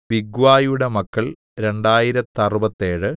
ബിഗ്വായിയുടെ മക്കൾ രണ്ടായിരത്തറുപത്തേഴ്